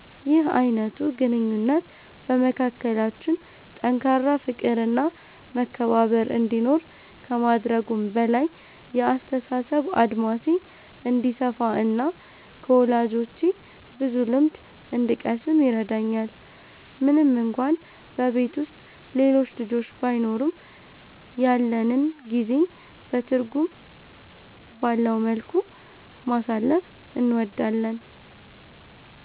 ይህ አይነቱ ግንኙነት በመካከላችን ጠንካራ ፍቅር እና መከባበር እንዲኖር ከማድረጉም በላይ፣ የአስተሳሰብ አድማሴ እንዲሰፋ እና ከወላጆቼ ብዙ ልምድ እንድቀስም ይረዳኛል። ምንም እንኳን በቤት ውስጥ ሌሎች ልጆች ባይኖሩም፣ ያለንን ጊዜ በትርጉም ባለው መልኩ ማሳለፍ እንወዳለን።